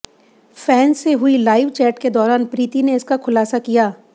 fans से हुई live chat के दौरान प्रीति ने इसका खुलासा किया